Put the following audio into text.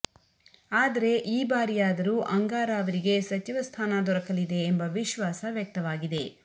ಆದರೆ ಈ ಬಾರಿಯಾದರೂ ಅಂಗಾರ ಅವರಿಗೆ ಸಚಿವ ಸ್ಥಾನ ದೊರಕಲಿದೆ ಎಂಬ ವಿಶ್ವಾಸ ವ್ಯಕ್ತವಾಗಿದೆ